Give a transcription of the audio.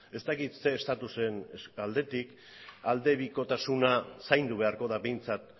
ez dakit ze estatusen aldetik aldebikotasuna zaindu beharko da behintzat